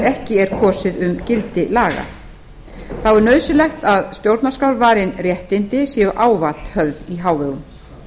ekki er kosið um gildi laga þá er nauðsynlegt að stjórnarskrárvarin réttindi séu ávallt höfð í hávegum